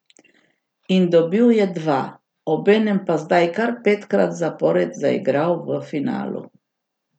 In dobil je dva, obenem pa zdaj kar petkrat zapored zaigral v finalu.